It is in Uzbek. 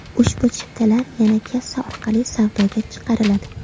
Ushbu chiptalar yana kassa orqali savdoga chiqariladi.